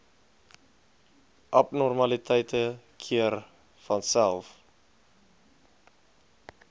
abnormaliteite keer vanself